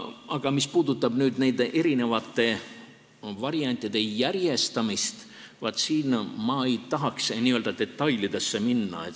Aga mis puudutab nende variantide järjestamist, siis siin ma ei tahaks detailidesse minna.